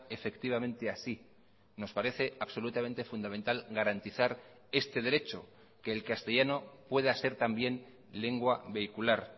efectivamente así nos parece absolutamente fundamental garantizar este derecho que el castellano pueda ser también lengua vehicular